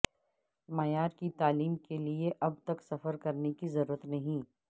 معیار کی تعلیم کے لیے اب تک سفر کرنے کی ضرورت نہیں